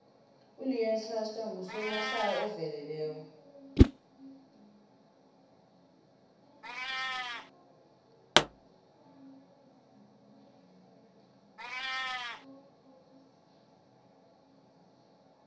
uleon schuster ngusomahlaya oveleleko